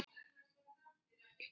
Linda: Varstu ekkert móður?